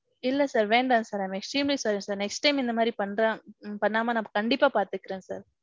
இல்ல sir வேண்டாம் sir. I am extremely sorry sir. Next time. இந்த மாதிரி ~ பன்னாம நான் கண்டிப்பா பாத்துக்குறேன் sir.